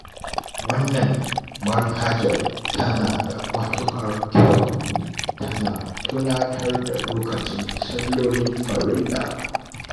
Wannan manhajar tana da matuƙar kyau, tana tunatar da lokacin sallolin farilla